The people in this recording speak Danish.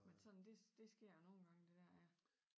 Men sådan det det sker jo nogen gange der dér ja